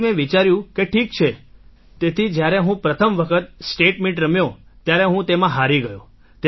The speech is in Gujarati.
તેથી મેં વિચાર્યું કે ઠીક છે તેથી જ્યારે હું પ્રથમ વખત સ્ટેટ મીટ રમ્યો ત્યારે હું તેમાં હારી ગયો